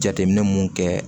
Jateminɛ mun kɛ